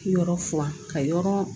Yɔrɔ furan ka yɔrɔ